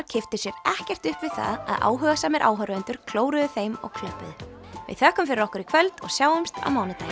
kipptu sér ekkert upp við það að áhugasamir áhorfendur klóruðu þeim og klöppuðu við þökkum fyrir okkur í kvöld og sjáumst á mánudaginn